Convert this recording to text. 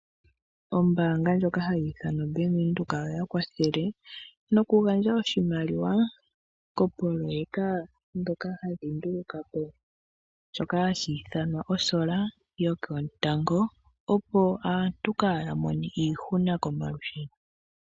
Ombaanga ndjoka hayi ithanwa Bank Windhoek oya kwathele nokugandja oshimaliwa koopoloyeka ndhoka hadhi nduluka po shoka hashi ithanwa osola yoketango opo aantu kaaya mone iihuna komalusheno.